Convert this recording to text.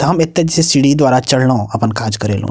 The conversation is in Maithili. हम एता जे छै सीढ़ी द्वारा चढ़लो अपन काज करेलो।